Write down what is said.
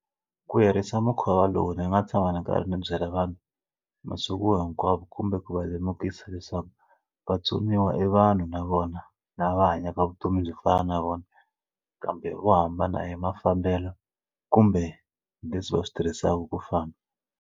Ku herisa mukhuva lowu ni nga tshama ndzi karhi ndzi byela vanhu masiku hinkwawo kumbe ku va lemukisa leswaku vatsoniwa i vanhu na vona lava hanyaka vutomi byo fana na vona kambe vo hambana hi mafambelo kumbe leswi va swi tirhisaka ku fana.